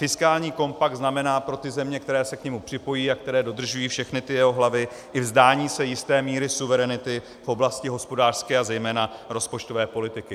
Fiskální kompakt znamená pro ty země, které se k němu připojí a které dodržují všechny ty jeho hlavy, i vzdání se jisté míry suverenity v oblasti hospodářské a zejména rozpočtové politiky.